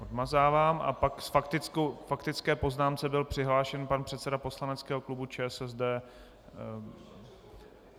Odmazávám, a pak k faktické poznámce byl přihlášen pan předseda poslaneckého klubu ČSSD.